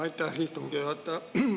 Aitäh, istungi juhataja!